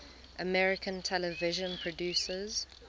american television producers